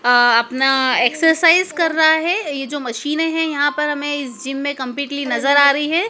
अपना एक्सरसाइज कर रहा है। यह जो मशीन है यहां पर हमें इस जिम में कंपलीटली नजर आ रही है।